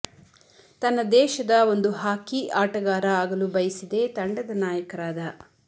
ತನ್ನ ದೇಶದ ಒಂದು ಹಾಕಿ ಆಟಗಾರ ಆಗಲು ಬಯಸಿದೆ ತಂಡದ ನಾಯಕರಾದ